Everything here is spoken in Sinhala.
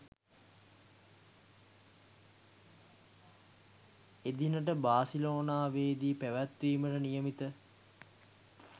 එදිනට බාසිලෝනාවේදී පැවැත්වීමට නියමිත